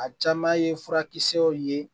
A caman ye furakisɛw ye